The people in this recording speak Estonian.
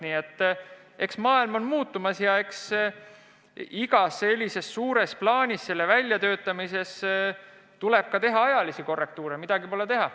Nii et maailm on muutumas ja iga suure plaani väljatöötamisel tuleb teha ka ajalisi korrektuure, midagi pole teha.